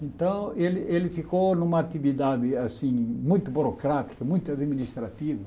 Então, ele ele ficou numa atividade assim muito burocrática, muito administrativa.